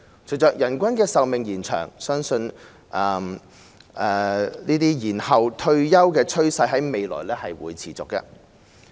隨着人均壽命延長，延後退休的趨勢未來相信會持續。